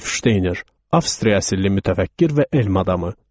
Rudolf Şteyner: Avstriya əsilli mütəfəkkir və elm adamı.